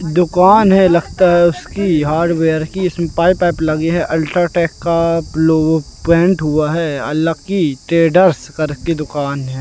दुकान है लगता है उसकी हार्डवेयर की इसमें पाइप वाइप लगी है अल्ट्राटेक का लोगो पेंट हुआ है लक्की ट्रेडर्स करके दुकान है।